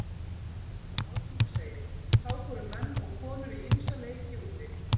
Ásmundur segir: Þá fóru menn og konur í ýmsa leiki úti.